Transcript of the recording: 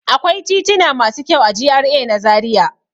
Akwai tituna masu kyau a GRA na Zariya.